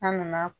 An nana